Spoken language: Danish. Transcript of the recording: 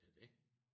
Det er det